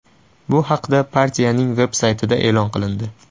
Bu haqda partiyaning veb-saytida e’lon qilindi .